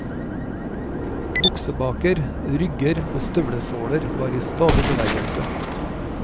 Buksebaker, rygger og støvlesåler var i stadig bevegelse.